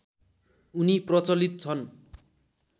उनी प्रचलित छन्